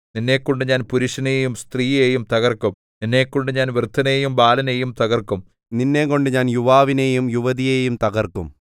നിന്നെക്കൊണ്ട് ഞാൻ പുരുഷനെയും സ്ത്രീയെയും തകർക്കും നിന്നെക്കൊണ്ട് ഞാൻ വൃദ്ധനെയും ബാലനെയും തകർക്കും നിന്നെക്കൊണ്ട് ഞാൻ യുവാവിനെയും യുവതിയെയും തകർക്കും